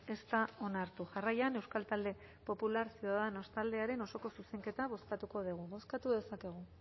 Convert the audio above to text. ez da onartu jarraian euskal talde popular ciudadanos taldearen osoko zuzenketa bozkatuko dugu bozkatu dezakegu